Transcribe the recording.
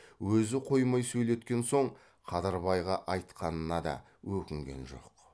өзі қоймай сөйлеткен соң қадырбайға айтқанына да өкінген жоқ